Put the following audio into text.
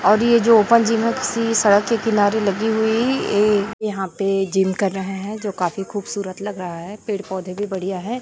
और ये जो ओपन जीम है किसी सड़क के किनारे लगी हुई है ये यहाँ पे जिम कर रहे है जो खूबसूरत लग रहा है पेड़-पौधे भी बढ़िया है।